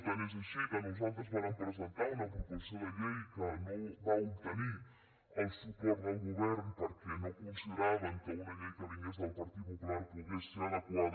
tant és així que nosaltres vàrem presentar una proposició de llei que no va obtenir el suport del govern perquè no consideraven que una llei que vingués del partit popular pogués ser adequada